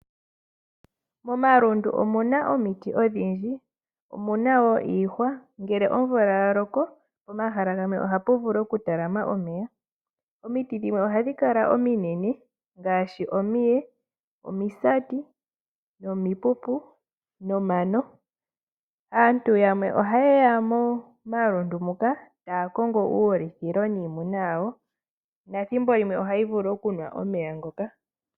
Momalundu omuna omiti odhindji, omuna wo iihwa, ngele omvula ya loko pomahala gamwe ohapu vulu oku talama omeya. Omiti dhimwe ohadhi kala ominene ngaashi omiye, omisati nomipupu nomano. Aantu yamwe ohaye ya momalundu muka taya kongo uulithilo niimuna yawo nethimbo limwe ohayi vulu okunwa omeya ngoka.